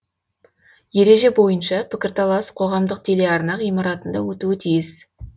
ереже бойынша пікірталас қоғамдық телеарна ғимаратында өтуі тиіс